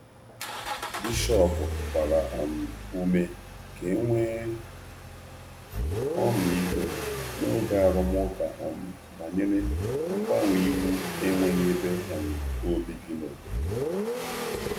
Bishọp gbara ume ka e nwee ka e nwee ọmịiko n’oge arụmụka banyere mgbanwe iwu enweghị ebe obibi n’obodo.